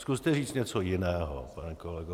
Zkuste říct něco jiného, pane kolego.